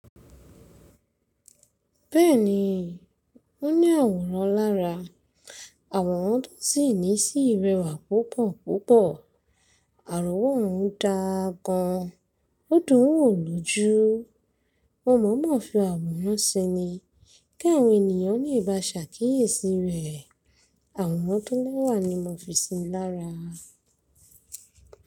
Bẹ́ẹ̀ni, ó ní àwòrán lára. Àwòrán tó sì ní sí rẹwà púpọ̀púpọ̀. Àworan òún dáa gan-an, ó dùn ún wò lójú. Mo mọ̀ mọ̀ fi àwòrán ṣe ni kí àwọn ènìyàn lè ba ṣàkíyèsí rẹ̀. Àwòrán tó lẹ́wà ni mo fi sí i lára.